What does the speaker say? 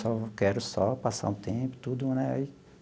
Só quero só passar um tempo, tudo, né aí.